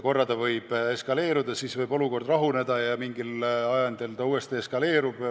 Korraks võivad sündmused eskaleeruda, siis võib olukord rahuneda ja mingil ajendil uuesti eskaleeruda.